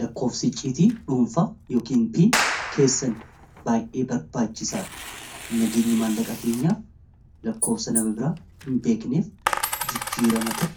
lakkoofsi icciitii dhuunfaa yookin piin keessan baay'ee barbaachisaadha nageenya maallaqaa keenyaaf lakkoofsa nama biraa hinbeekneef jijjiirama ta'e